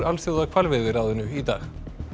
Alþjóðahvalveiðiráðinu í dag